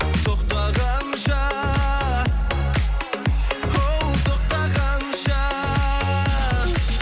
тоқтағанша оу тоқтағанша